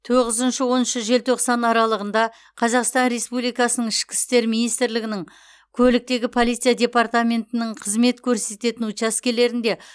тоғызыншы он оныншы желтоқсан аралығында қазақстан республикасының ішкі істер министрлігінің көліктегі полиция департаментінің қызмет көрсететін учаскелерінде